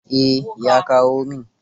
Eh, ya kawo min.